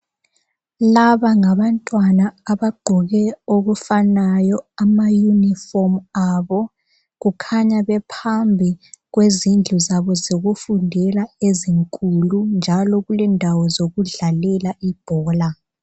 Laba ngabantwana abagqoke okufanayo amaunifomu abo kukhanya bephambi kwezindlu zabo zokufundela ezinkulu njalo kulendawo zokudlalela ibhola